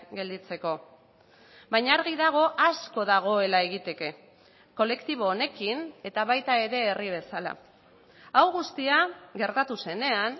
gelditzeko baina argi dago asko dagoela egiteke kolektibo honekin eta baita ere herri bezala hau guztia gertatu zenean